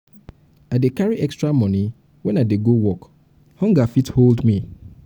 i dey carry extra moni wen i dey go work hunger fit hold me.